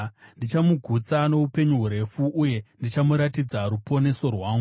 Ndichamugutsa noupenyu hurefu, uye ndichamuratidza ruponeso rwangu.”